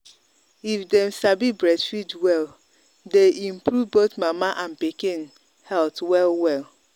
if them sabi breastfeed welle day improve both mama and pikin pikin health well well.